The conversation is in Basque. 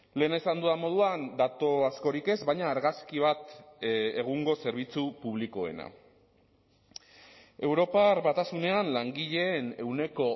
lehen esan dudan moduan datu askorik ez baina argazki bat egungo zerbitzu publikoena europar batasunean langileen ehuneko